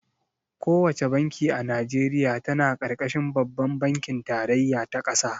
Ko wace banki a Najeriya tana ƙarƙashin babban bankin tarayya ta ƙasa.